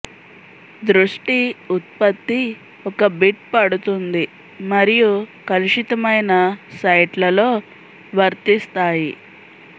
దృష్టి ఉత్పత్తి ఒక బిట్ పడుతుంది మరియు కలుషితమైన సైట్లలో వర్తిస్తాయి